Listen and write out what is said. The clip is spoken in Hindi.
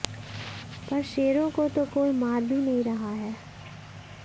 पर शेरों को तो कोई मार भी नहीं रहा है